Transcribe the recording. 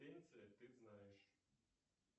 ты знаешь